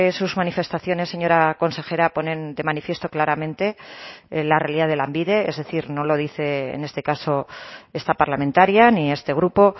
sus manifestaciones señora consejera ponen de manifiesto claramente la realidad de lanbide es decir no lo dice en este caso esta parlamentaria ni este grupo